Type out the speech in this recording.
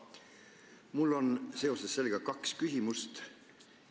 Mul on seoses sellega kaks küsimust.